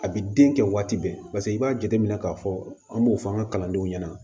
A bi den kɛ waati bɛɛ i b'a jateminɛ k'a fɔ an b'o fɔ an ka kalandenw ɲɛna